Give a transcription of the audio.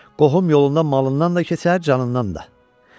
Qohum yolundan malından da kəsər, canından da.